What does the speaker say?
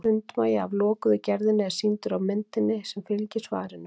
sundmagi af lokuðu gerðinni er sýndur á myndinni sem fylgir svarinu